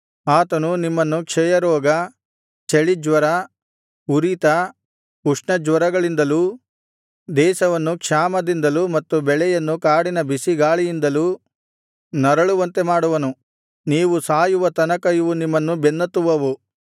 ಆತನು ನಿಮ್ಮನ್ನು ಕ್ಷಯರೋಗ ಚಳಿಜ್ವರ ಉರಿತ ಉಷ್ಣಜ್ವರಗಳಿಂದಲೂ ದೇಶವನ್ನು ಕ್ಷಾಮದಿಂದಲೂ ಮತ್ತು ಬೆಳೆಯನ್ನು ಕಾಡಿನ ಬಿಸಿಗಾಳಿಗಳಿಂದಲೂ ನರಳುವಂತೆ ಮಾಡುವನು ನೀವು ಸಾಯುವ ತನಕ ಇವು ನಿಮ್ಮನ್ನು ಬೆನ್ನತ್ತುವವು